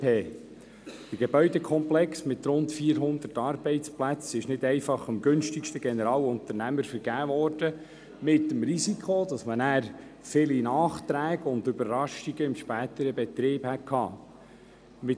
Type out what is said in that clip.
Der Gebäudekomplex mit rund 400 Arbeitsplätzen ist nicht einfach an den günstigsten Generalunternehmer vergeben worden, womit das Risiko vieler Nachträge und Überraschungen im späteren Betrieb einhergegangen wäre.